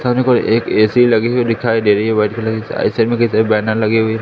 थाने पर एक ए_सी लगी हुई दिखाई दे रही है व्हाइट कलर की बैनर लगी हुई है।